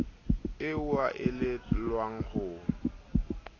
eo a e elellwang ho